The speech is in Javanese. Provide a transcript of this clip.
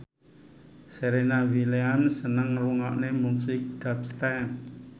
Serena Williams seneng ngrungokne musik dubstep